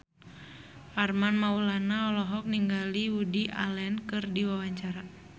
Armand Maulana olohok ningali Woody Allen keur diwawancara